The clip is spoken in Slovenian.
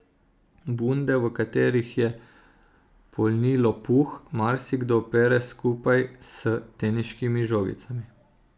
Bunde, v katerih je polnilo puh, marsikdo pere skupaj s teniškimi žogicami.